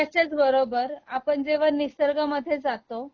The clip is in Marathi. त्याच्याच बरोबर आपण जेव्हा निसर्गामध्ये जातो